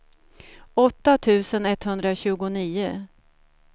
åtta tusen etthundratjugonio